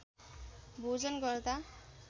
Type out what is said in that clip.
भोजन गर्दा